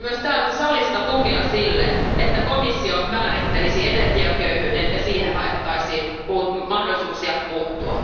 Toivon myös täältä salista tukea sille, että komissio määrittelisi energiaköyhyyden ja siihen haettaisiin mahdollisuuksia puuttua.